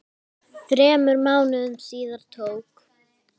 Þremur mánuðum síðar tók